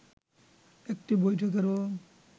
একটি বৈঠকেরও